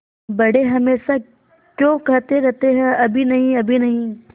बड़े हमेशा क्यों कहते रहते हैं अभी नहीं अभी नहीं